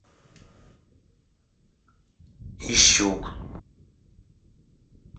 ищук